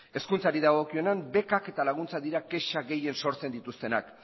hezkuntzari dagokionez bekak eta laguntzak dira kexak gehien sortzen dituztenak